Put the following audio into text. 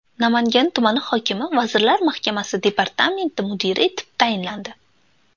Namangan tumani hokimi Vazirlar Mahkamasi departamenti mudiri etib tayinlandi.